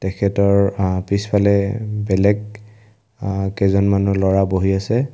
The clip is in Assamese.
তেখেতৰ আ পিছফালে বেলেগ আহ কেইজনমানো ল'ৰা বহি আছে।